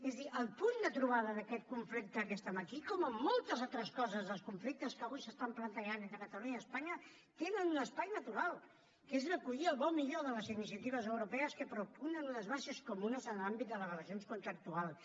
és a dir el punt de trobada d’aquest conflicte que estem aquí com en moltes altres coses dels conflictes que avui s’estan plantejant entre catalunya i espanya tenen un espai natural que és recollir el bo i millor de les iniciatives europees que propugnen unes bases comunes en l’àmbit de les relacions contractuals